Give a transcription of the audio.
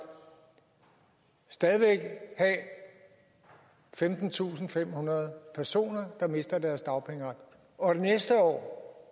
stadig væk have femtentusinde og femhundrede personer der mister deres dagpengeret og næste år